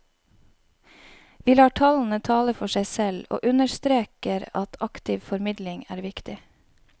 Vi lar tallene tale for seg selv og understreker at aktiv formidling er viktig.